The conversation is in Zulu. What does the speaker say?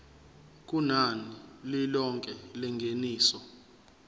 kunani lilonke lengeniso